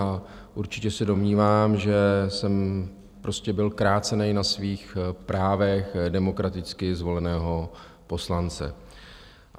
A určitě se domnívám, že jsem prostě byl krácen na svých právech demokraticky zvoleného poslance.